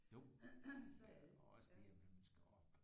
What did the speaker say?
Jo og også det at man skal op